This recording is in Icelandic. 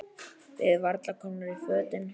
Við varla komnar í fötin.